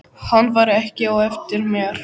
Hann var ekki á eftir mér.